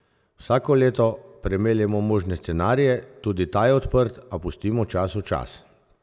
Vsako leto premeljemo možne scenarije, tudi ta je odprt, a pustimo času čas!